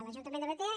l’ajuntament de batea